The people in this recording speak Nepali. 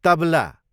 तबला